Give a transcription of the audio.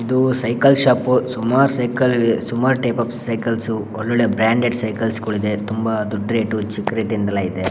ಇದು cycle shop . ಸುಮಾರು cycle ಇವೆ ಸುಮಾರು ಟೈಪ್ ಓಫ್ ಸೈಕಲ್ ಸ್ ಒಳ್ಳೊಳ್ಳೆ ಬ್ರಾಂಡೆಡ್ ಸೈಕಲ್ಸ್ ಗಳೆಲ್ಲ ಇವೆ. ತುಂಬಾ ದೊಡ್ಡ ರೇಟ್ ಚೀಪ್ ರೇಟ್ ನದ್ದೆಲ್ಲಾ ಇದೆ.